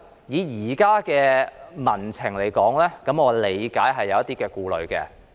以現時的民情而言，我理解是有的。